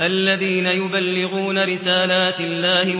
الَّذِينَ يُبَلِّغُونَ رِسَالَاتِ اللَّهِ